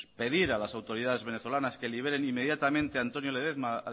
pedir a las autoridades venezolanas que liberen inmediatamente a antonio ledezma a